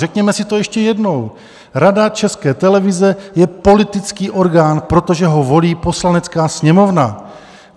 Řekněme si to ještě jednou: Rada České televize je politický orgán, protože ho volí Poslanecká sněmovna.